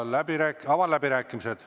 Avan läbirääkimised.